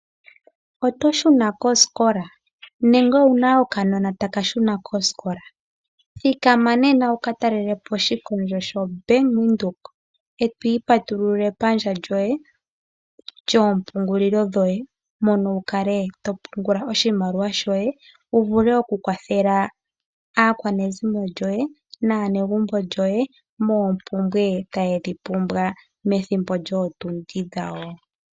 Oto shuna kosikola nenge owu na okanona taka shuna kosikola? Thikama nena wu ka talele po oshitayi shoBank Windhoek e to ipatululile epandja lyoye lyompungulilo yoye wu ka to pungula oshimaliwa shoye, wu vule okukwathela aakwanezimo yoye naanegumbo lyoye moompumbwe taye dhi pumbwa methimbo lyootundi dhawo.